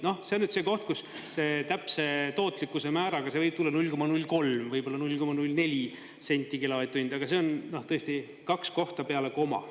Noh, see on nüüd see koht, kus täpse tootlikkuse määraga see võib tulla 0,03 või 0,04 senti kilovati hind, aga see on tõesti kaks kohta peale koma.